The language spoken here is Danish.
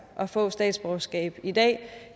at få statsborgerskab i dag